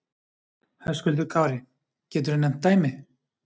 Höskuldur Kári: Geturðu nefnt dæmi?